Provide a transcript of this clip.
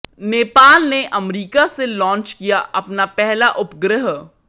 नेपाल ने अमरीका से लांच किया अपना पहला उपग्रह